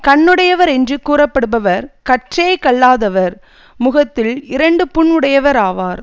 கண்ணுடையவர் என்று கூறப்படுபவர் காற்றே கல்லாதவர் முகத்தில் இரண்டுப் புண் உடையவர் ஆவார்